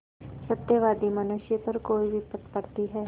सत्यवादी मनुष्य पर कोई विपत्त पड़ती हैं